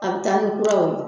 A bi taa ni kuraw ye